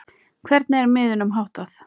Hvernig er miðunum háttað?